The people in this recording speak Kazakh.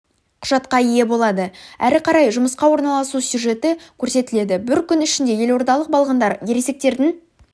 құжатқа ие болады әрі қарай жұмысқа орналасу сюжеті көрсетіледі бір күн ішінде елордалық балғындар ересектердің